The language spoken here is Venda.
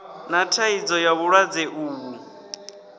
na thaidzo ya vhulwadze uvhu